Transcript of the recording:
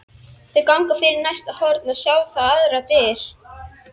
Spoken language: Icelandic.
Þau ganga fyrir næsta horn og sjá þá aðrar dyr.